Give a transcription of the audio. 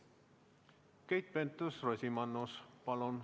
Keit Pentus-Rosimannus, palun!